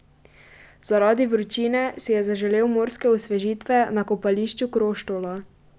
Zaradi vročine si je zaželel morske osvežitve na kopališču Kroštola.